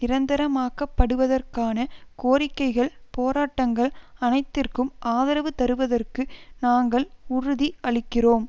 நிரந்தரமாக்கப்படுவதற்கான கோரிக்கைகள் போராட்டங்கள் அனைத்திற்கும் ஆதரவு தருவதற்கு நாங்கள் உறுதி அளிக்கிறோம்